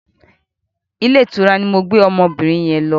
Ilé ìtura ni mo gbé ọmọbìnin yẹn lọ.